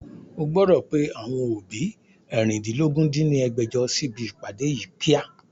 O gbọ́dọ̀ pe àwọn òbí eérìndínlógún dín ní ẹgbẹ́jọ sí ibi ìpàdé yí kíá!